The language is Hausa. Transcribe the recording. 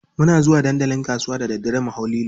Muna zuwa dandalin kasuwa da daddare mu hau lilo.